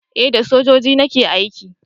eh da sojoji nake aiki.